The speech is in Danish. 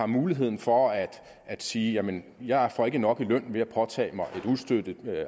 mulighed for at sige jamen jeg får ikke nok i løn ved at påtage mig et ustøttet